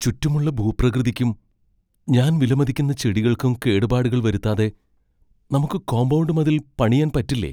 ചുറ്റുമുള്ള ഭൂപ്രകൃതിക്കും ഞാൻ വിലമതിക്കുന്ന ചെടികൾക്കും കേടുപാടുകൾ വരുത്താതെ നമുക്ക് കോമ്പൗണ്ട് മതിൽ പണിയാൻ പറ്റില്ലേ?